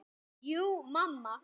Jú mamma.